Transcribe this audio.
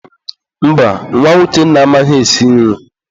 Mba, nwa Uchenna amaghị esi nri.